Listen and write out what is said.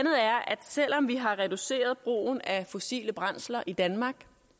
selv om vi har reduceret brugen af fossile brændsler i danmark